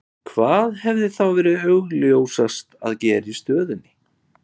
Hvað hefði þá verið augljósast að gera í stöðunni?